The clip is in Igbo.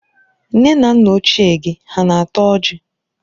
Nne na nna ochié gi ha na-ata ọjị?